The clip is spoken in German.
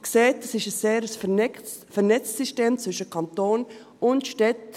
Sie sehen, es ist ein sehr vernetztes System zwischen Kanton und Städten.